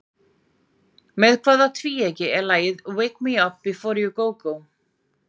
Með hvaða tvíeyki er lagið Wake me up before you go go?